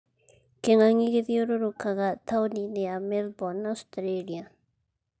Kĩng'ang'i gĩthiũrũrũkaga taũni-inĩ ya Melbourne, Australia